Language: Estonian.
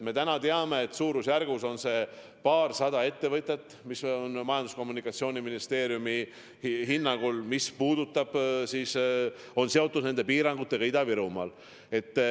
Me täna teame, et suurusjärgus on paarsada ettevõtet, mis on Majandus- ja Kommunikatsiooniministeeriumi hinnangul seotud piirangutega Ida-Virumaal.